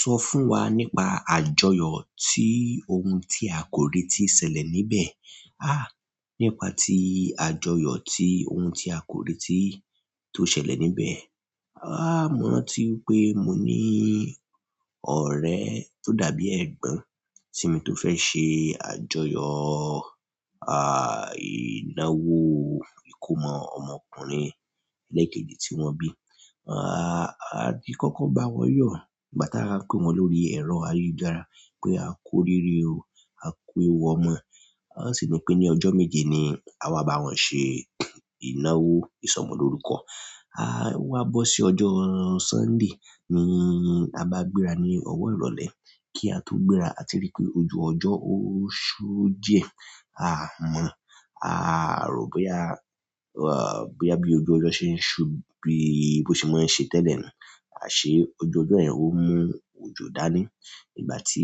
Sọ fún wa nípa àjọyọ̀ tí ohun tí a kò rí tí ṣẹlẹ̀ níbẹ̀. Nípa ti àjọyọ̀ ti ohun ti a ko reti to ṣẹlẹ̀ níbẹ̀ mo rántí pé mo ní ọ̀rẹ́ tó dàbí ẹ̀gbọ́n sí mi tó fẹ́ ṣe àjọyọ̀, ìnáwó ìkómọ ọmọkùnrin ẹlẹẹkeji tí wọ́n bí. A ti kọ́kọ́ n bá wọn yọ̀ nígbà tí a ń pé wọn lórí ẹ̀rọ ayélujára pé a ku oríre o, a ku ewu ọmọ. Wọn sì ní pé ní ọjọ́ méje ni àwa bá wọn ṣe ìnáwó ìsọmọlórúkọ. O wá bọ sí ọjọ́ Sunday ní a bá gbéra ní ọ̀wọ̀ ìrọ̀lẹ́ kí a tó gbéra, a ti rí pé ojú ọjọ́ ó ṣú díẹ̀. A mọ̀, a rò pé boya pé bí ojú ọjọ́ ṣe ń ṣú bí bó ṣe máa ń ṣe tẹ́lẹ̀ ni a ṣé ojú ọjọ́ yẹn ó mú òjò dání. Nígbà tí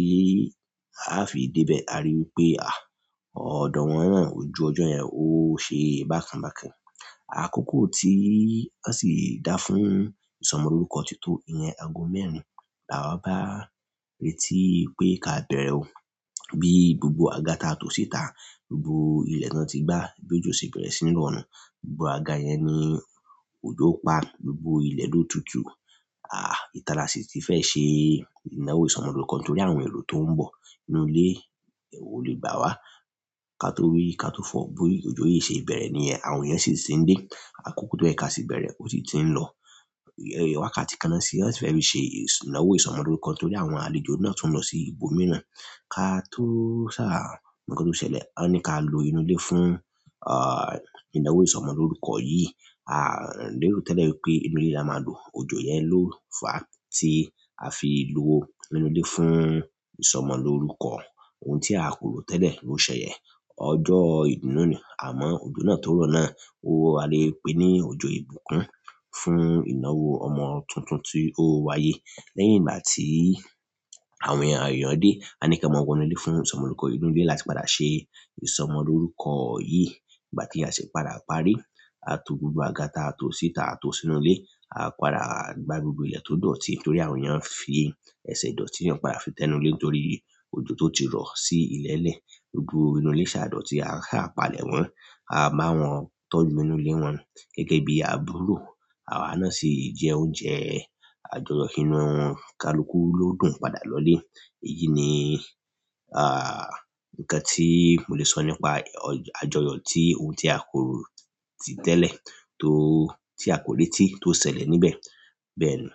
a fi dé ibẹ̀, a rí i pé ọ̀dọ̀ wọn náà ojú ọjọ́ yẹn ó ṣe bákan bákan. Àkókò tí wọ́n sì dá fún ìsọmọlórúkọ ti tó ìyẹn ago mẹ́rin. La wa bá n retí wipé ká bẹ̀rẹ̀ o. Bí gbogbo àga ta tò síta, gbogbo ilẹ̀ tó ti gbá, bí ojo se bẹ̀rẹ̀ sí ní rọ nu. Gbogbo àga yẹn ni òjò pa gbogbo ilẹ̀ ló tutù. Ìta la sì ti fẹ́ ṣe ìnáwó ìsọmọlórúkọ torí àwọn èrò tó ń bọ̀. Inú ilé ò lè gbà wá. Ka to wí, ka to fọ̀ bi ojú yìí ṣe bẹ̀rẹ̀ níyẹn, àwọn ìyẹn sì ti ń dé. Àkókò tó yẹ ka sì bẹ̀rẹ̀ ò sì ti ń lọ. Wákàtí kan náà sì fẹ́ fí ṣe ìnáwó ìsọmọlórúkọ torí àwọn àlejò náà tún lọ sí ibòmíràn. Ka tó ṣà, nǹkan tó ṣẹlẹ̀, wọ́n ní ká lo inú ilé fún, ìnáwó ìsọmọlórúkọ yìí. A lero tẹ́lẹ̀ wípé inú ilé la máa lo, òjò yẹn ló fà á tí a fi lo inú ilé fún ìsọmọlórúkọ. Ohun tí a kò rò tẹ́lẹ̀ ló ṣẹlẹ̀. Ọjọ́ ìdúnú nì, àmọ́ òjò náà tó rọ̀ náà, ó wa lé e pé ní òjò ìbùkún fún ìnáwó ọmọ tuntun tí ó wáyé. Lẹ́yìn ìgbà tí àwọn èèyàn dé, a ní kí wọn mọ wọ inú ilé fún ìsọmọlórúkọ. Inú ilé láti padà ṣe ìsọmọlórúkọ yìí. Ìgbà tí a sì padà parí, a to gbogbo àga ta tò síta, a to sínú ilé. A padà gba gbogbo ilẹ̀ tó dọ̀tí torí àwọn ìyẹn fi ẹsẹ̀ dọ̀tí, wọn padà fi tẹ́nu ilé nítorí òjò tó ti rọ̀ sí ilẹ̀ lẹ̀. Gbogbo inú ilé ṣà dọ̀tí, a sa palẹ̀ mọ a bá wọn tọ́jú inú ilé wọn gẹ́gẹ́ bí àbúrò. Àwa náà sì jẹ oúnjẹ àjọyọ̀ inú kalùkú ló dùn padà lọ ilé. Èyí ni, nǹkan tí mo lè sọ nípa ọjọ́-- àjọyọ̀ tí ohun tí a kò rò ti tẹ́lẹ̀ tó, tí a kò rí tí tó ṣẹlẹ̀ níbẹ̀ bẹ́ẹ̀ ni.